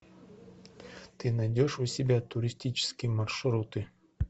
ты найдешь у себя туристические маршруты